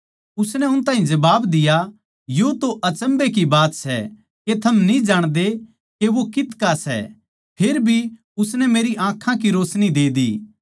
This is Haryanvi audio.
उसनै उस ताहीं जबाब दिया या तै अचम्भै की बात सै के थम न्ही जाणदे के वो कितका सै फेर भी उसनै मेरी आँखां की रोशनी दे दी